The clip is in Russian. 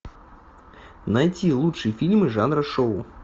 найти лучшие фильмы жанра шоу